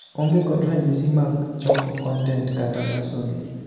Onge kod ranyisi mag choko content kata loso gi